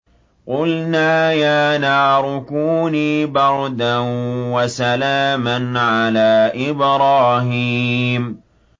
قُلْنَا يَا نَارُ كُونِي بَرْدًا وَسَلَامًا عَلَىٰ إِبْرَاهِيمَ